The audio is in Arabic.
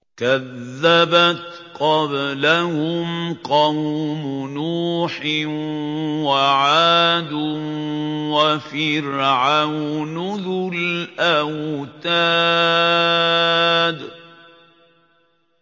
كَذَّبَتْ قَبْلَهُمْ قَوْمُ نُوحٍ وَعَادٌ وَفِرْعَوْنُ ذُو الْأَوْتَادِ